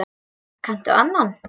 Kanntu annan?